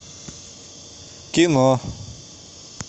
кино